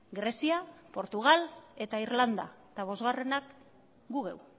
grezia portugal eta irlanda eta bosgarrenak gu geu